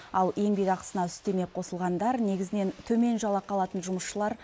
ал еңбекақысына үстеме қосылғандар негізінен төмен жалақы алатын жұмысшылар